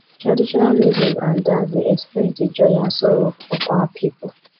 traditional music and dance dey express di joy and sorrow of our pipo